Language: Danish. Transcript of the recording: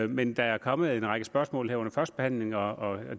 men der er kommet en række spørgsmål her under førstebehandlingen og